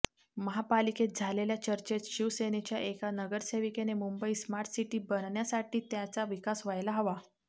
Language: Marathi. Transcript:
महापालिकेत झालेल्या चर्चेत शिवसेनेच्या एका नगरसेविकेने मुंबई स्मार्ट सिटी बनण्यासाठी त्याचा विकास व्हायला हवा